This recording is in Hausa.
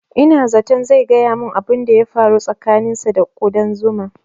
Ina zaton zai gaya mun abun da ya faru tsakanin sa da ƙudan zuma